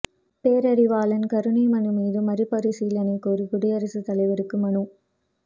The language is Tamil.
பேரறிவாளன் கருணை மனு மீது மறுபரிசீலனை கோரி குடியரசுத் தலைவருக்கு மனு